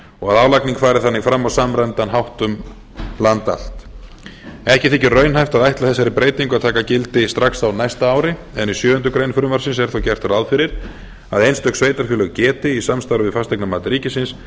og að álagning fari þannig fram á samræmdan hátt um land allt ekki þykir raunhæft að ætla þessari breytingu að taka gildi strax á næsta ári en í sjöundu greinar frumvarpsins er þó gert ráð fyrir að einstök sveitarfélög geti í samstarfi við fasteignamat ríkisins